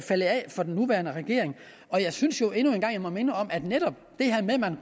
for den nuværende regering og jeg synes jo jeg endnu en gang må minde om at man netop